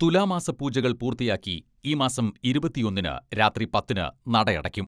തുലാമാസ പൂജകൾ പൂർത്തിയാക്കി ഈ മാസം ഇരുപത്തിയൊന്നിന് രാത്രി പത്തിന് നട അടയ്ക്കും.